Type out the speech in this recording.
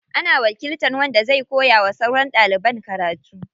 Ana wakiltan wanda zai koya wa sauran ɗaliban karatu.